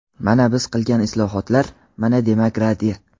Mana biz qilgan islohotlar, mana demokratiya.